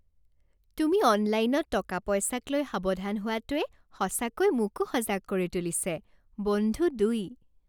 তুমি অনলাইনত টকা পইচাক লৈ সাৱধান হোৱাটোৱে সঁচাকৈ মোকো সজাগ কৰি তুলিছে। বন্ধু দুই